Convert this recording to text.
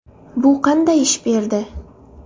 Bu qanday ish berdi?